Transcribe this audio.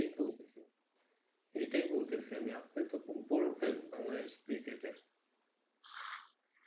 এইটাই বলতাছি এটাই বলতেছি আমি আপনি তো বড়ো fan বাংলাদেশি cricket এর